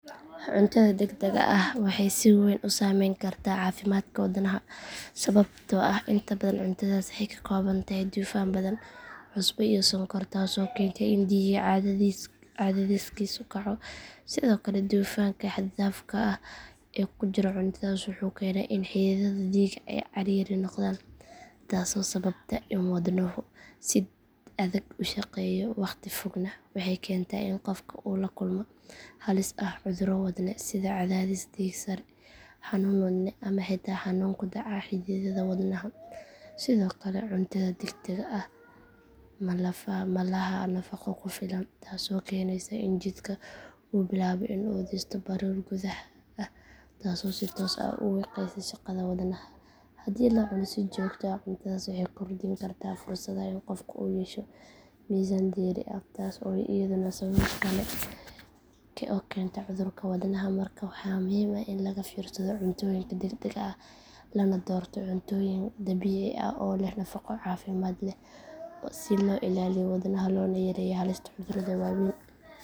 Cuntadha dadaga ah waxeey si weyn usaameyn kartaa caafimadka wadnaha sababtoo ah inta badan cuntadhaas waxeey kakoobantahy dufaan badhan, cusbo iyo sonkor taas oo kenta in diiga cadhadisika kaco. Sidhoo kale dufaanka xad daafka h ee kujiro cuntadhas in xidhidhadha diiga ay ciriiri noqdaan taas oo sababta in wadnahu si adhag ushaqeya, waqti fog neh waxey kenta in qofku uu lakulmo halis ah cudhuro wadno sidha cadhadhis tiigsan xanuun wadne ama xita xanuun kudaca xidhidhadha wadnaha. Sidhoo kale cuntadha digdaga ah malaxa nafaqo kufilan taas oo kenesa in jidka uu bilaabo in u disto baruur gudhaha taas oo si toos ah ushaqeysiiso shaqadha wadnaha. Hadii si joogt ah cuntadhas waxey kordin karta fursadha in u qofku uu yeesho mizan deri ah taas oo idhana sabab kale oo kenta cudhurka wadnaha. Marka waxaa muhiim ahin lagafiirsadho cuntooyinka dagdaga ah lana doorto cuntoyin dabiici ah oo leh nafaqo cafimaad leh si loo ilaaliyo wadnaha loona yareeyo halista cudhuradha waaweyn.